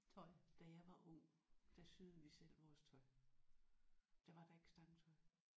Da jeg var ung der syede vi selv vores tøj. Der var der ikke stangtøj